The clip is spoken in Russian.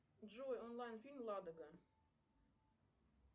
джой онлайн фильм ладога